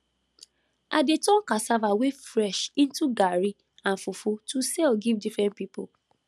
i dey turn cassava wey fresh into garri and fufu to sell give different people